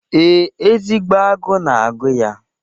Ee, ezigbo agụụ na-agụ ya.